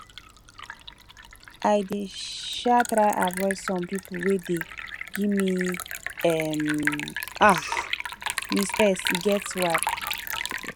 i dey um try avoid pipo wey dey give um um me stress e get why